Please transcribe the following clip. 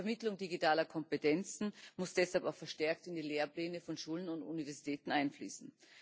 Die Vermittlung digitaler Kompetenzen muss deshalb auch verstärkt in die Lehrpläne von Schulen und Universitäten einfließen.